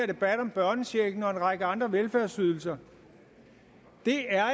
debat om børnechecken og en række andre velfærdsydelser det er